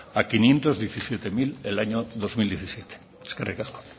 a quinientos diecisiete mil del año dos mil diecisiete eskerrik asko